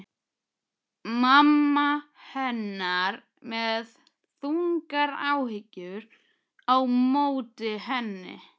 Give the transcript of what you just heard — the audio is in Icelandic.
Mamma hennar með þungar áhyggjur á móti henni.